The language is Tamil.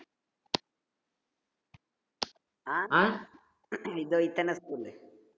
ஆஹ் இதோ இத்தன school லு